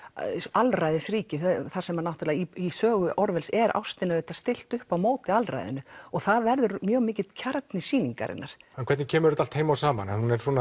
alræðisríki þar sem náttúrulega í sögu Orwells er ástinni stillt upp á móti alræðinu og það verður mjög mikill kjarni sýningarinnar en hvernig kemur þetta allt heim og saman